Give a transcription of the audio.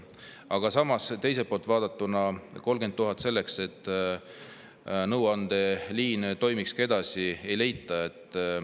Aga samas, teiselt poolt vaadatuna, 30 000 eurot selleks, et nõuandeliin edasi toimiks, ei leita.